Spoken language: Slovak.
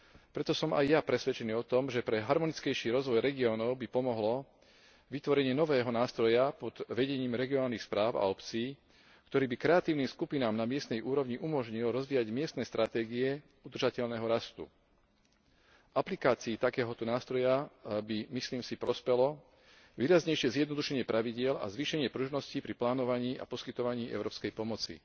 Preto som aj ja presvedčený o tom, že harmonickejšiemu rozvoju regiónov by pomohlo vytvorenie nového nástroja pod vedením regionálnych správ a obcí, ktorý by kreatívnym skupinám na miestnej úrovni umožnil rozvíjať miestne stratégie udržateľného rastu. Aplikácii takéhoto nástroja by, myslím si, prospelo výraznejšie zjednodušenie pravidiel a zvýšenie pružnosti pri plánovaní a poskytovaní európskej pomoci.